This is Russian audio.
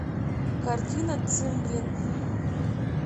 картина цимбелин